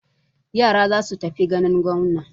Yara za su tafi ganin gwamna.